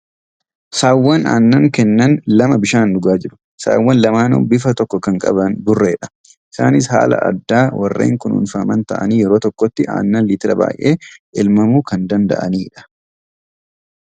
Saawwan aannan kennan lama bishaan dhugaa jiru . Saawwn lamaanuu bifa tokko kan qaban burreedha. Isaaniis haala addaa warreen kunuunfaman ta'anii yeroo tokkotti aannan liitira baay'ee elmamuu kan danda'aniidha .